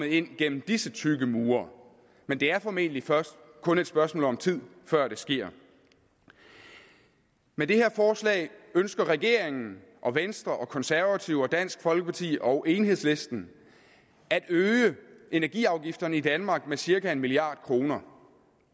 ind gennem disse tykke mure men det er formentlig kun et spørgsmål om tid før det sker med det her forslag ønsker regeringen venstre konservative dansk folkeparti og enhedslisten at øge energiafgifterne i danmark med cirka en milliard kroner